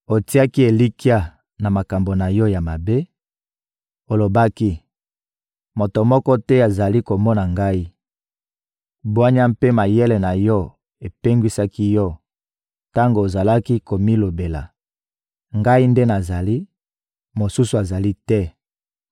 Otiaki elikya na makambo na yo ya mabe, olobaki: «Moto moko te azali komona ngai!» Bwanya mpe mayele na yo epengwisaki yo tango ozalaki komilobela: «Ngai nde nazali, mosusu azali te!»